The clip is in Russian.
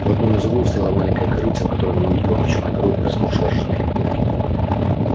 в одном из углов стояло маленькое корытце в котором она увидела мочёный горох и размокшие ржаные корки